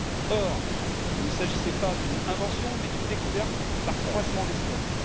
Or, il ne s'agissait pas d'une invention, mais d'une découverte par croisement d'espèces.